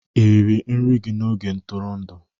Ị riri nri gị n'oge ntụrụndụ?